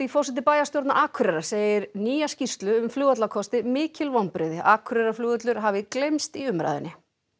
forseti bæjarstjórnar Akureyrar segir nýja skýrslu um mikil vonbrigði Akureyrarflugvöllur hafi gleymst í umræðunni